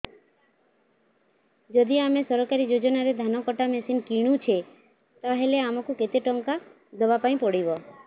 ଯଦି ଆମେ ସରକାରୀ ଯୋଜନାରେ ଧାନ କଟା ମେସିନ୍ କିଣୁଛେ ତାହାଲେ ଆମକୁ କେତେ ଟଙ୍କା ଦବାପାଇଁ ପଡିବ